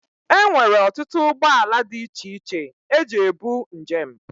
Enwere ọtụtụ ụgbọ ala dị iche iche eji ebu njem.